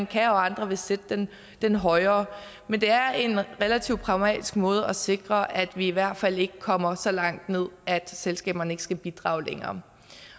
kan og andre vil sætte den den højere men det er en relativt pragmatisk måde at sikre at vi i hvert fald ikke kommer så langt ned at selskaberne ikke skal bidrage længere